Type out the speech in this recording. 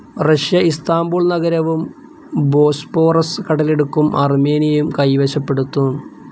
Russia Istanbul നഗരവും Bosporus കടലിടുക്കും അർമേനിയയും കൈവശപ്പെടുത്തും.